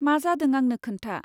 मा जादों आंनो खोन्था।